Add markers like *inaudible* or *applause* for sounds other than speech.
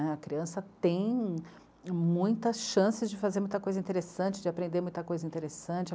*unintelligible* A criança tem muitas chances de fazer muita coisa interessante, de aprender muita coisa interessante.